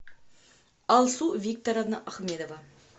алсу викторовна ахмедова